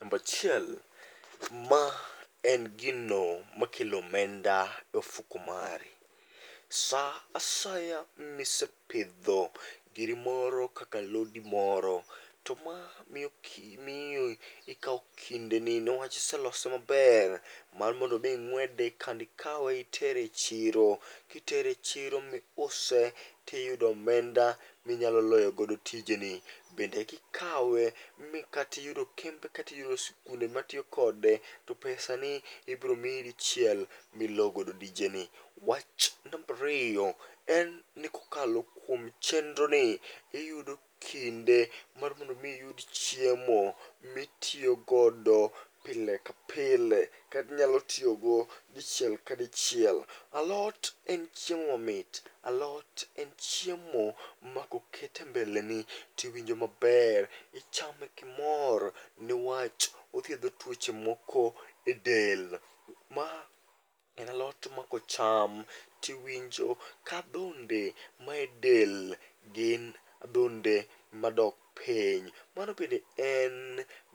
Nambachiel, ma en gino makelo omenda e ofuku mari. Sa asaya misepidho giri oro kaka alodi moro, to ma miyo ikawo kindeni newach iselose maber mar mondo mi ing'wede kdendi kawe itere e chiro. Kitere e chiro miuse tiyudo omenda minyalo loyogodo tijeni. Bende kikawe, mi katiyudo kembe katiyudo sikunde matiyo kode, to pesa ni ibiromiyi dichiel milo godo dijeni. Wach nambariyo, en ni kokalo kuom chendroni, iyudo kinde mar mondomi iyud chiemo mitiyogodo pile ka pile. Katinyalo tiyogo dichiel ka dichiel. Alot en chiemo mamit, alot en chiemo ma koket e mbeleni tiwinjo maber, ichame kimor. Niwach othiedho tuoche moko e del, ma en alot ma kocham tiwinjo kadhonde ma e del gin adhonde ma dok piny. Mano bende en